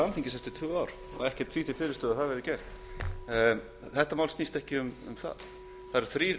alþingis eftir tvö ár ekkert því til fyrirstöðu að það verði gert þetta mál snýst ekki um það það eru þrír